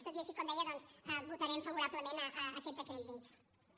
tot i així com deia doncs votarem favorablement aquest decret llei